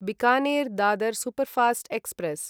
Bikaner Dadar superfast express